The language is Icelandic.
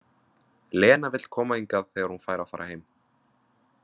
Lena vill koma hingað þegar hún fær að fara heim.